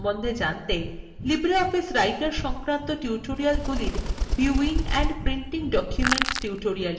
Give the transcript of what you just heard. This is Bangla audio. libreoffice writerসংক্রান্ত tutorialগুলির viewing and printing documents tutorial দেখুন